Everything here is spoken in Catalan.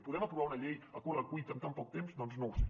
podem aprovar una llei a correcuita en tan poc temps doncs no ho sé